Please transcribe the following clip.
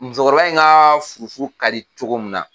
Musokɔrɔba in ka furu ka di cogo min na